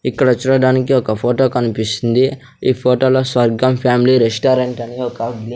ఇక్కడ చూడడానికి ఒక ఫోటో కన్పిస్తుంది ఈ ఫోటోలో స్వర్గం ఫ్యామిలీ రెస్టారెంట్ అని ఒక బ్లి--